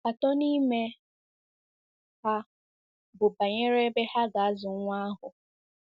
Atọ n'ime ha bụ banyere ebe ha ga-azụ nwa ahụ.